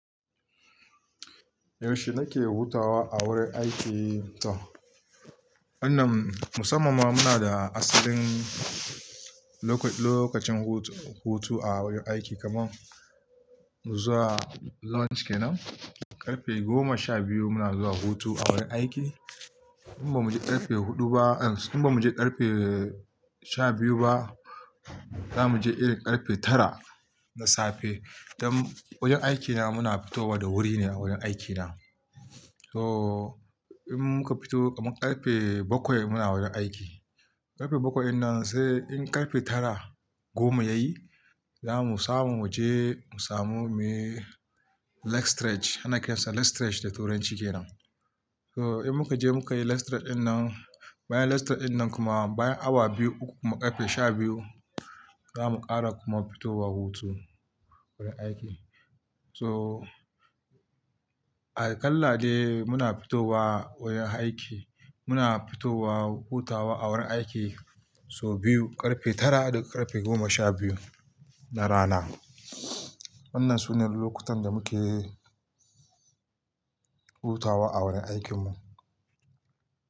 Yaushe nake hutawa a wurin aiki? To wannan musamman muna da asalin lokacin hutu a wurin aiki kamar zuwa lunch kenan, ƙarfe goma sha biyu muna zuwa hutu a wurin aiki. In ba mu je ƙarfe huɗu ba in ba mu je ƙarfe sha biyu ba, za mu je iri ƙarfe tara na safe. Dan wurin aiki na muna fitowa da wuri ne a wurin aiki na. So in muka fito kamar ƙarfe bakwai muna wurin aiki, ƙarfe bakwai nan sai in ƙarfe tara goma yayi, za mu samu waje mu samu muyi leg stretch ana kiransa leg stretch da turanci kenan. So in muka je muka yi leg stretch wannan, bayan leg stretch wannan kuma bayan awa biyu uku kuma ƙarfe sha biyu, za mu ƙara kuma fitowa hutu wurin aiki. So aƙalla dai muna fitowa wurin aiki, muna fitowa hutawa a wurin aiki so biyu, ƙarfe tara da ƙarfe goma sha biyu na rana. Wannan sune lokutan da muke hutawa a wurin aikin mu.